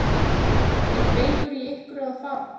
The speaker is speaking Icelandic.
Fréttamaður: Er beygur í ykkur að fara?